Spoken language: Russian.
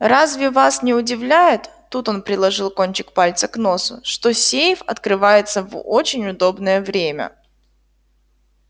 разве вас не удивляет тут он приложил кончик пальца к носу что сейф открывается в очень удобнее время